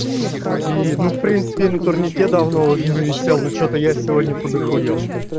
и ну в принципе на турнике давно уже не висел ну что-то я сегодня подахуел